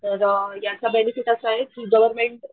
तर याचा बेनेफिट असाय कि गव्हर्मेंट,